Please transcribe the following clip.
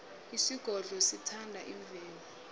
isigodlo sithanda imvelo